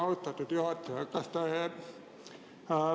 Austatud juhataja!